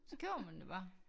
Så køber man det bare